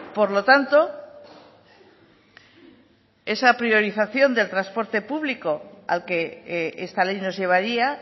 por lo tanto esa priorización del transporte público al que esta ley nos llevaría